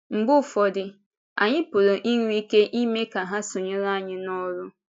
Mgbe ụfọdụ, anyị pụrụ inwe ike ime ka ha sonyere anyị n’ọ́rụ.